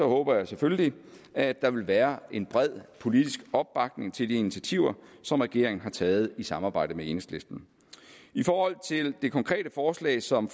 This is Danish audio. håber jeg selvfølgelig at der vil være en bred politisk opbakning til de initiativer som regeringen har taget i samarbejde med enhedslisten i forhold til det konkrete forslag som